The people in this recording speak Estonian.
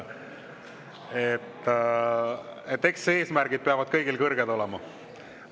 Eks eesmärgid peavad kõigil kõrged olema.